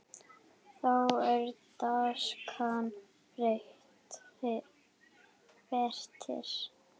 Þá er danskan betri.